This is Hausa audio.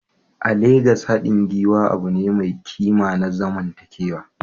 A Legas, haɗin gwiwa abu ne mai ƙima na zamantakewa.